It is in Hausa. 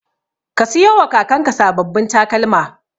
Ka siyowa kakanka sababbin takalma.